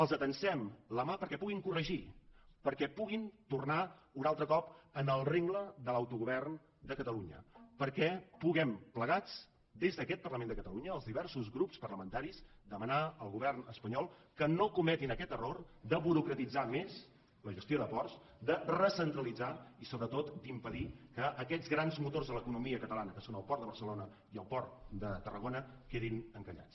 els atansem la mà perquè puguin corregir perquè puguin tornar un altre cop al rengle de l’autogovern de catalunya perquè puguem plegats des d’aquest parlament de catalunya els diversos grups parlamentaris demanar al govern espanyol que no cometin aquest error de burocratitzar més la gestió de ports de recentralitzar i sobretot d’impedir que aquests grans motors de l’economia catalana que són el port de barcelona i el port de tarragona quedin encallats